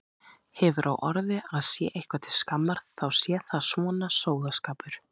Hefur á orði að sé eitthvað til skammar þá sé það svona sóðaskapur.